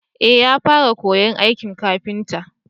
eh ya fara koyan aikin kafinta